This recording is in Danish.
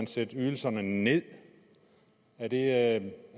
sætte ydelserne ned er det